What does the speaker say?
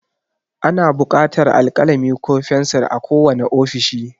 Ana buƙatar alkalami ko fensir a kowane ofishi.